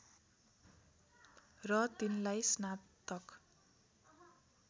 र तिनलाई स्नातक